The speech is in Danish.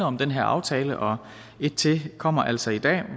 om den her aftale og en til kommer altså i dag